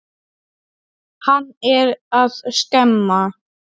Hann er að skemma.